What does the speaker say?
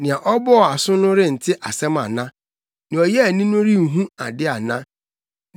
Nea ɔbɔɔ aso no rente asɛm ana? Nea ɔyɛɛ ani no renhu ade ana?